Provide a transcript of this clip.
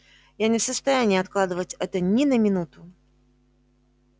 я не в состоянии откладывать это ни на минуту